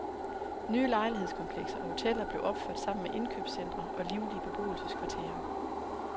Nye lejlighedskomplekser og hoteller blev opført sammen med indkøbscentre og livlige beboelseskvarterer.